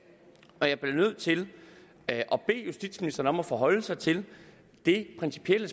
og jeg bliver nødt til at bede justitsministeren om at forholde sig til det principielle